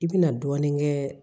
I bɛna dɔɔnin kɛ